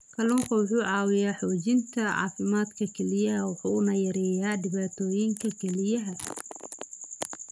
Kalluunku wuxuu caawiyaa xoojinta caafimaadka kelyaha wuxuuna yareeyaa dhibaatooyinka kelyaha.